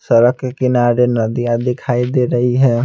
सरक के किनारे नदियां दिखाई दे रही है।